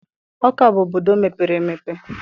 Ọka bụ obodo mepere emepe